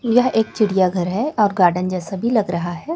यह एक चिड़ियाघर है और गार्डन जैसा भी लग रहा है।